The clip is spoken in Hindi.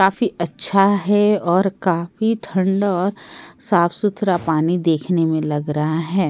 काफी अच्‍छा है और काफी ठंड और साफ-सुथरा पानी देखने में लग रहा है ।